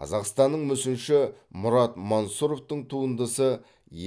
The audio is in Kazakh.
қазақстандық мүсінші мұрат мансұровтың туындысы